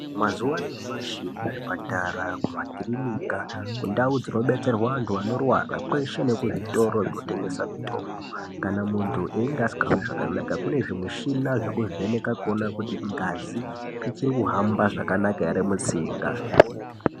Mazuwa anyamashi kuzvipatara , kumakirinika kundau dzinobetserwa vantu vanorwara kweshe nekuzvitoro kunotengeswa mitombo kana muntu einge asingahwi zvakanaka kune zvimishina zvekuvheneka kuona kuti ngazi ichiri kuhamba zvakanaka here mutsinga .